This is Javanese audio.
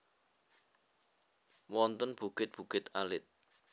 Wonten bukit bukit alit